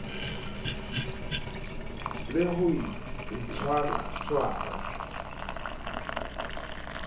le ho tshwaratshwara ho sa